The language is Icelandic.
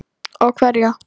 Og hverja?